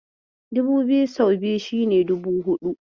Two thousand times two is equal to four thousand.